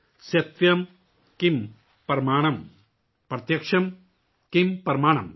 ستیم کِم پرامنم، پرتیاکم کِم پرامنم